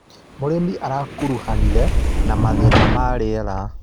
Mũrĩmi arakuruhanire na mathĩna ma rĩera.